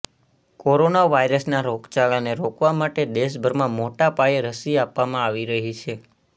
corona વાયરસના રોગચાળાને રોકવા માટે દેશભરમાં મોટા પાયે રસી આપવામાં આવી રહી છે